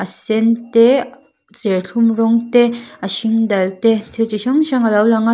a sen te serthlum rawng te a hring dal te thil chi hrang hrang alo lang a.